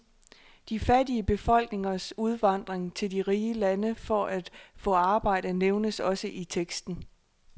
De fattige befolkningers udvandring til de rige lande for at få arbejde nævnes også i teksten.